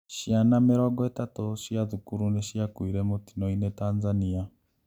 Ciana mĩrongo ĩtatũ cia thukuru nĩciakuire mũtino-inĩ Tanzania